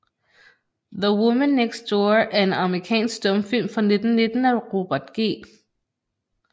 The Woman Next Door er en amerikansk stumfilm fra 1919 af Robert G